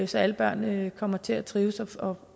så alle børn kommer til at trives og